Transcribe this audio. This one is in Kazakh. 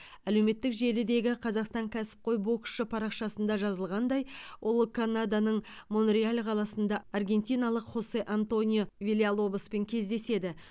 әлеуметтік желідегі қазақстан кәсіпқой боксшы парақшасында жазылғандай ол канаданың монреаль қаласында аргентиналық хосе антонио вильялобоспен кездеседі